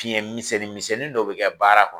Fiɲɛ misɛnni misɛnni dɔ be kɛ baara kɔnɔ